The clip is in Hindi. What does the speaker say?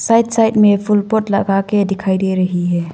साइड साइड में फूल पॉट लगा के दिखाई दे रही है।